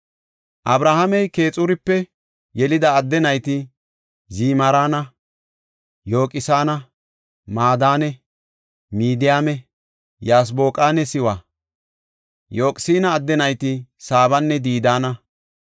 Abrahaamey Keexurape yelida adde nayti Zimiraana, Yoqsaana, Madaane, Midiyaame, Yasboqanne Siwa. Yoqsaana adde nayti Saabanne Didaana.